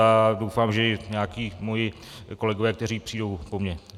A doufám, že i nějací mí kolegové, kteří přijdou po mě.